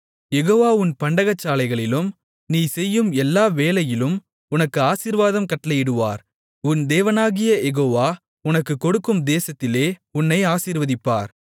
யெகோவா உன் பண்டகசாலைகளிலும் நீ செய்யும் எல்லா வேலையிலும் உனக்கு ஆசீர்வாதம் கட்டளையிடுவார் உன் தேவனாகிய யெகோவா உனக்குக் கொடுக்கும் தேசத்திலே உன்னை ஆசீர்வதிப்பார்